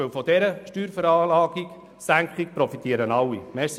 Denn von dieser Senkung profitieren alle.